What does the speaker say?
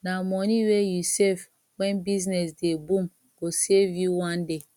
na moni wey you save wen business dey boom go save you one day